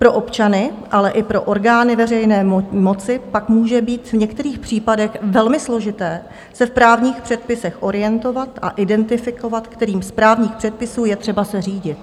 Pro občany, ale i pro orgány veřejné moci pak může být v některých případech velmi složité se v právních předpisech orientovat a identifikovat, kterým z právních předpisů je třeba se řídit.